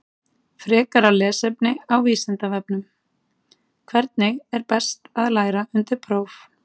Frekara lesefni á Vísindavefnum: Hvernig er best að læra undir próf?